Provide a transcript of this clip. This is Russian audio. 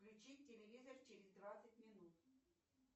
включи телевизор через двадцать минут